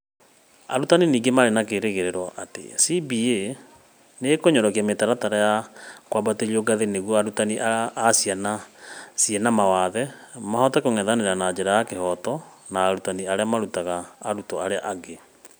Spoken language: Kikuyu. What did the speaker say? Arutani ningĩ marĩ na kĩĩrĩgĩrĩro atĩ CBA nĩ ĩk ũnyorokia mĩtaratara ya k ũambatĩrio ngathĩ nĩguo arutani a ciana ciĩ na mawathe mahote k ũngethanĩra na njĩra ya kĩhoto na arutani arĩa marutaga arutwo arĩa angĩ.